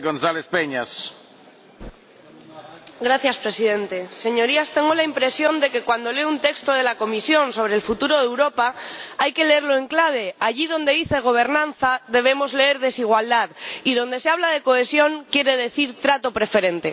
Señor Presidente, Señorías, tengo la impresión de que cuando leo un texto de la Comisión sobre el futuro de Europa hay que leerlo en clave allí donde dice gobernanza debemos leer desigualdad, y donde se habla de cohesión quiere decir trato preferente.